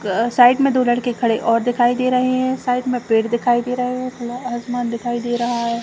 क साइड में दो लड़के खड़े और दिखाई दे रहे है साइड में पेड़ दिखाई दे रहे है थोड़ा आसमान दिखाई दे रहा है।